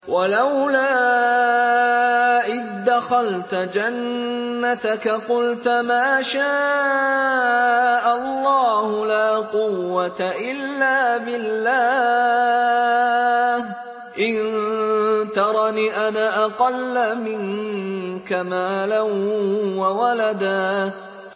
وَلَوْلَا إِذْ دَخَلْتَ جَنَّتَكَ قُلْتَ مَا شَاءَ اللَّهُ لَا قُوَّةَ إِلَّا بِاللَّهِ ۚ إِن تَرَنِ أَنَا أَقَلَّ مِنكَ مَالًا وَوَلَدًا